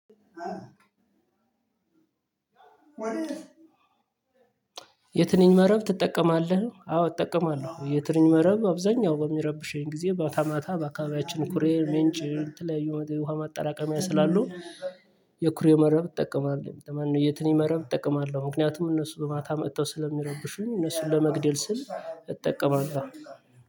የትንኝ መረብ ትጠቀማለህ? አዎ እጠቀማለሁ። የትንኝ መረብ አብዛኛው በሚረብሸኝ ጊዜ በታማታ በአካባቢያችን ኩሬ ምንጭ የተለያዩ ውሃ ማጣላቀሚያ ስላሉ የኩሬ መረብ እጠቀማለሁ። ማነው የትንኝ መረብ እጠቀማለሁ። ምክንያቱም እነሱ በማታ መጥተው ስለሚረብሹኝ እነሱን ለመግደል ስል እጠቀማለሁ።